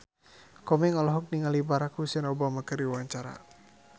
Komeng olohok ningali Barack Hussein Obama keur diwawancara